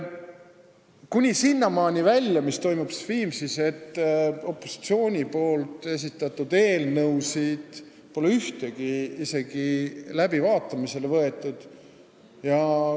Kuni sinnamaani välja, et ühtegi opositsiooni esitatud eelnõu pole seal isegi läbivaatamisele võetud.